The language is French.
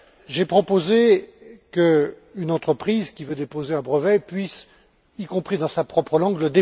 J'ai proposé qu'une entreprise qui veut déposer un brevet puisse le déposer, y compris dans sa propre langue.